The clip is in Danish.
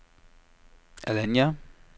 Alanya